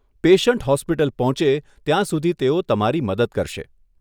Patient hospital પહોંચે ત્યાં સુધી તેઓ તમારી મદદ કરશે.